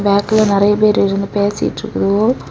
பார்க்குல நெறைய பேர் இருந்து பேசிட்டு இருக்குதுவோ.